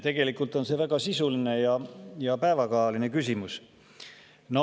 Tegelikult on see väga sisuline ja päevakajaline küsimus.